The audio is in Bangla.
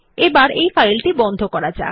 এখন এই ফাইলটি বন্ধ করা যাক